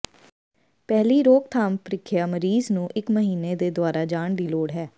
ਪਹਿਲੀ ਰੋਕਥਾਮ ਪ੍ਰੀਖਿਆ ਮਰੀਜ਼ ਨੂੰ ਇੱਕ ਮਹੀਨੇ ਦੇ ਦੁਆਰਾ ਜਾਣ ਦੀ ਲੋੜ ਹੈ